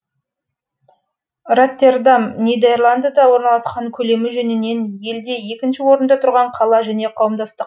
роттердам нидерландыда орналасқан көлемі жөнінен елде екінші орында тұрған қала және қауымдастық